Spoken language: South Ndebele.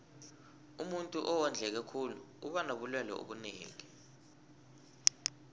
umuntuu owondleke khulu uba nobulelwe obunengi